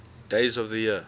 days of the year